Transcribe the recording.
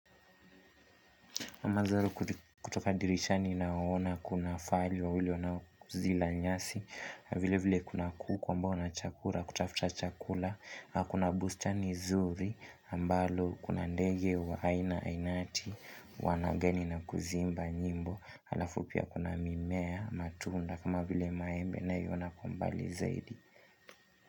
Amazaru kutoka dirisha ninaona kuna fahari wawili wanao zila nyasi, vile vile kuna kuku, ambao wana chakura, kutafuta chakula, kuna bustani zuri, ambalo kuna ndege wa aina, ainati, wanageni na kuziimba nyimbo, alafu pia kuna mimea, matunda, kama vile maembe na hivyo na kumbali zaidi.